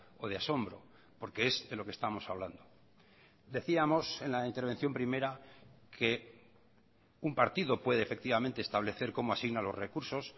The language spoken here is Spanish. o de asombro porque es de lo que estamos hablando decíamos en la intervención primera que un partido puede efectivamente establecer como asigna los recursos